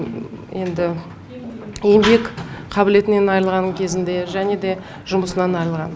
енді еңбек қабілетінен айырылған кезінде және де жұмысынан айырылған